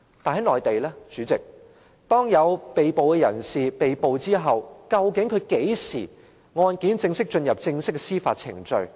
代理主席，當有人被捕後，究竟案件何時會正式進入司法程序？